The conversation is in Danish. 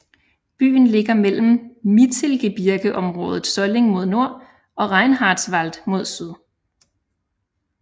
Byen ligger mellem Mittelgebirgeområdet Solling mod nord og Reinhardswald mod syd